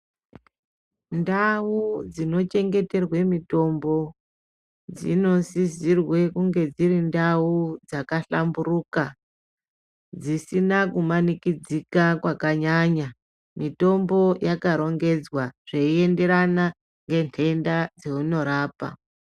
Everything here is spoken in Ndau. Ndau dzinochengeterwa mutombo dzinosisirwa kunge dziri ndau dzakahlamburika dzisina kumanikidzika zvakanyanya mutombo wakarongedzeka zvichienderana nendeta dzainorapa.